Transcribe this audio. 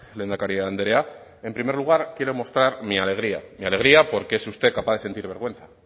lehendakari andrea en primer lugar quiero mostrar mi alegría mi alegría porque es usted capaz de sentir vergüenza